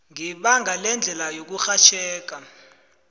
ngebanga lendlela yokurhatjheka